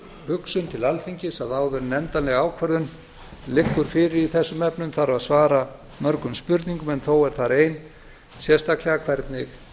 hugsun til alþingis að áður en endanleg ákvörðun liggur fyrir í þessum efnum þarf að svara mörgum spurningum en þó er þar ein sérstaklega hvernig